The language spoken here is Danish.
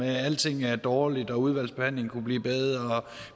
at alting er dårligt at udvalgsbehandlingen kunne blive bedre